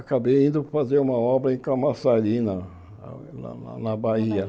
Acabei indo fazer uma obra em Camaçari, na na na na Bahia.